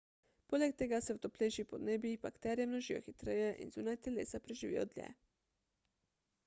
poleg tega se v toplejših podnebjih bakterije množijo hitreje in zunaj telesa preživijo dlje